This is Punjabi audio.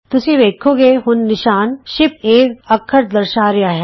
ਤੁਸੀਂ ਵੇਖੋਗੇ ਹੁਣ ਨਿਸ਼ਾਨ ਸ਼ਿਫਟਏ ਅੱਖਰ ਦਰਸਾ ਰਿਹਾ ਹੈ